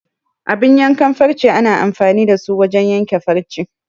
Abun yankan farce ana amfani da su wajen yanke farce.